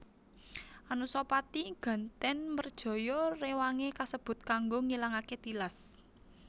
Anusapati gantèn mrejaya rewangé kasebut kanggo ngilangaké tilas